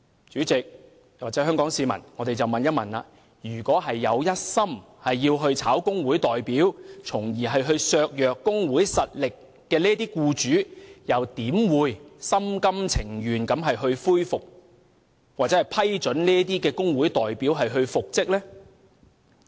主席，各位香港市民，試問一心想解僱工會代表從而削弱工會實力的僱主，又怎會心甘情願地批准工會代表復職呢？